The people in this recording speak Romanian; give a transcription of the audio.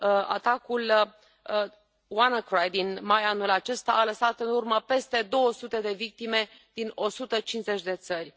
Atacul WannaCry din mai anul acesta a lăsat în urmă peste 200 de victime din 150 de țări.